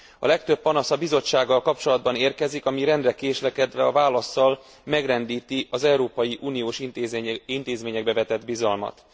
A legtöbb panasz a Bizottsággal kapcsolatban érkezik, ami rendre késlekedve a válasszal, megrendíti az európai uniós intézményekbe vetett bizalmat.